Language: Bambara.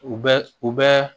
U bɛ u bɛ